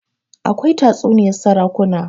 akwai tatsuniyar sarakuna